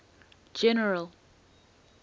general